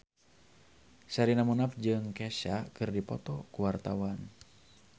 Sherina Munaf jeung Kesha keur dipoto ku wartawan